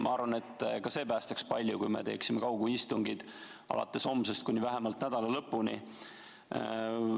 Ma arvan, et ka see päästaks palju, kui me teeksime kaugistungid alates homsest kuni vähemalt nädala lõpuni.